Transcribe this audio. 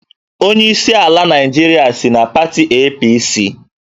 Onyeisi ala Naịjirịa si na pati APC